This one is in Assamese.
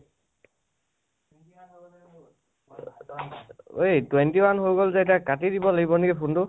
ঐ, twenty one হৈ গল যে এতিয়া কাটি দিব লাগিব নেকি phone টো?